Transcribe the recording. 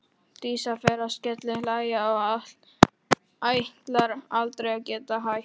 Dísa fer að skellihlæja og ætlar aldrei að geta hætt.